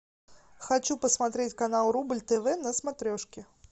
хочу посмотреть канал рубль тв на смотрешке